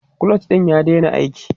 clutch ɗin ya daina aiki